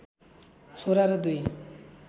छोरा र दुई